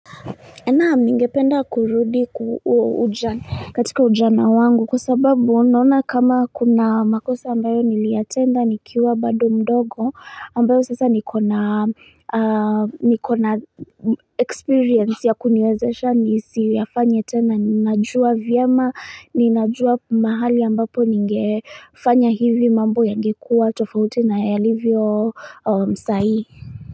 Naam ningependa kurudi katika ujana wangu kwa sababu naona kama kuna makosa ambayo niliyatenda nikiwa bado mdogo ambayo sasa niko na experience ya kuniwezesha nisi yafanye tena ninajua vyema ninajua mahali ambapo nigefanya hivi mambo yangekuwa tofauti nayalivyo sai.